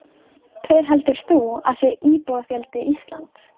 Hver heldur þú að sé íbúafjöldi Íslands?